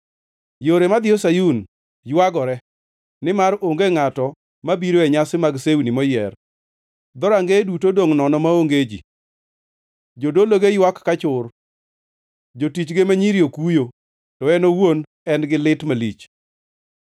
Yore madhiyo Sayun ywagore, nimar onge ngʼato mabiro e nyasi mag sewni moyier. Dhorangeye duto odongʼ nono maonge ji, jodologe ywak ka chur, jotichge ma nyiri okuyo, to en owuon en gi lit malich.